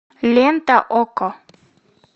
лента окко